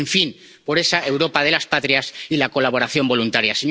en fin, por esa Europa de las patrias y la colaboración voluntaria.